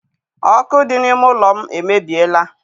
Ọkụ dị n'ime ụlọ m emebiela.